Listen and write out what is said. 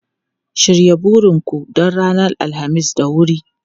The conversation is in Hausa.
Shirya burin ku don ranar Alhamis da wuri!